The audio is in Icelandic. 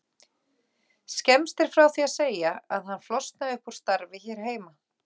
Skemmst er frá því að segja að hann flosnaði upp úr starfi hér heima.